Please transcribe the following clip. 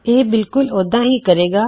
ਇਹ ਬਿਲਕੁਲ ਉਦਾ ਹੀ ਕਰੇਗਾ